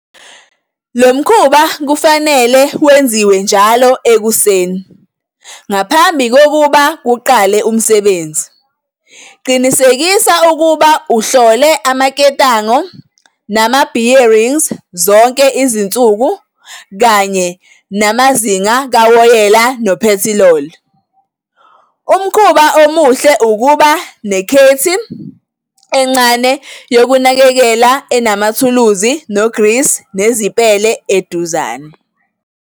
Lo mkhuba kufanele wenziwe njalo ekuseni ngaphambi kokuba kuqale umsebenzi. Qinisekisa ukuba uhlole amaketango nama-bearing zonke izinsuku kanye namazinga kawoyela nophethiloli. Umkhuba omuhle ukuba nekhithi encane yokunakekela enamathuluzi nogrisi nezipele eduzane.